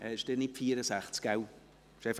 Abstimmung (Geschäft 2019.POMGS.54;